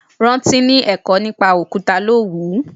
Rántí ni ẹ̀kọ́ nípa Òkúta ló wùú.